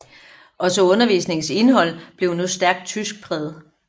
Også undervisningens indhold blev nu stærkt tyskpræget